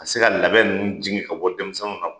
A tɛ se ka labɛn ninnu jigin ka bɔ denmisɛnww